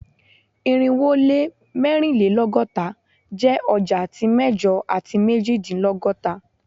Irinwo o le mẹrinlelọgọta jẹ ọja ti mẹjọ ati mejidinlọgọta